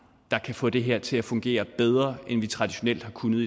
der kan få det her til at fungere bedre end vi traditionelt har kunnet